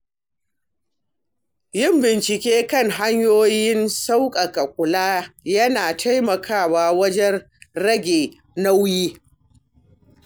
Yin bincike kan hanyoyin sauƙaƙa kula yana taimakawa wajen rage nauyi.